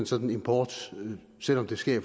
sådan import selv om det sker i